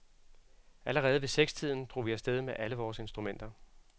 Allerede ved sekstiden drog vi af sted med alle vore instrumenter.